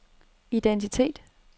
identitet